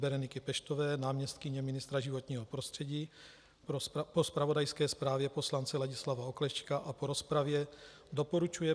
Bereniky Peštové, náměstkyně ministra životního prostředí, po zpravodajské zprávě poslance Ladislava Oklešťka a po rozpravě doporučuje